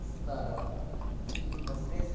старого и непосредст